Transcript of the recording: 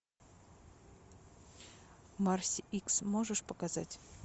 марси икс можешь показать